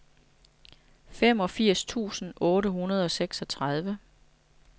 femogfirs tusind otte hundrede og seksogtredive